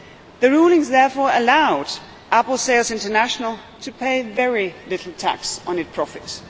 The rulings therefore allowed Apple Sales International to pay very little tax on its profits.